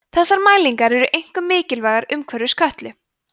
þessar mælingar eru einkum mikilvægar umhverfis kötlu